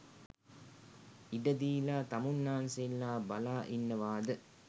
ඉඩ දීලා තමුන්නාන්සේලා බලා ඉන්නවාද?